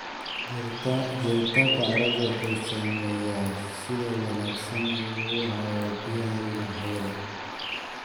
Jiritaanka carradu wuxuu saameeyaa sida wanaagsan ee uu u hayo biyaha iyo hawada.